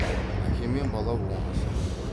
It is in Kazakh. әке мен бала оңаша